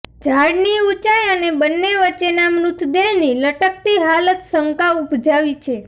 ઝાડની ઉંચાઈ અને બંને વચ્ચેના મૃતદેહની લટકતી હાલત સંકા ઉપજાવી છે